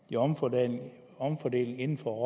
i omfordeling omfordeling inden for